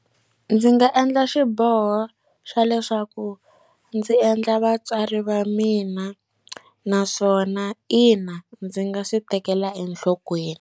Ndzi nga endla xiboho xa leswaku ndzi endla vatswari va mina naswona, ina ndzi nga swi tekela enhlokweni.